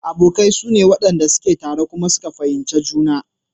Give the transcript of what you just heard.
Abokai sune wanɗan da suke tare kuma kuka fahimci juna.